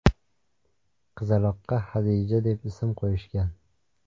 Qizaloqqa Hadija deb ism qo‘yishgan.